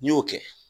N'i y'o kɛ